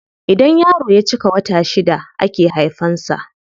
Idan yaro ya cika wata shida ake haifan sa.